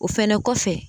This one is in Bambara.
O fɛnɛ kɔfɛ